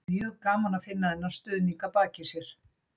Mjög gaman að finna þennan stuðning að baki sér.